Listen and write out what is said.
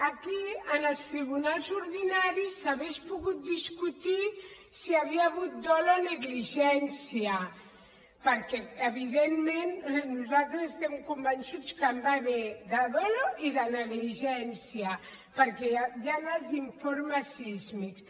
aquí en els tribunals ordinaris s’hauria pogut discutir si hi havia hagut dol o negligència perquè evidentment nosaltres estem convençuts que n’hi va haver de dol i de negligència perquè hi han els informes sísmics